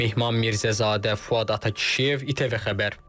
Mehman Mirzəzadə, Fuad Atakişiyev, İTV Xəbər.